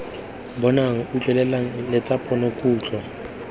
bonwang utlwelelwang le tsa ponokutlo